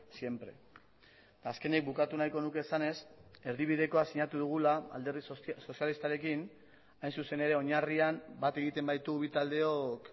siempre eta azkenik bukatu nahiko nuke esanez erdibidekoa sinatu dugula alderdi sozialistarekin hain zuzen ere oinarrian bat egiten baitu bi taldeok